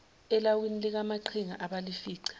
elawini likamaqhinga abalifica